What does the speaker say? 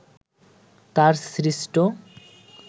তাঁর সৃষ্ট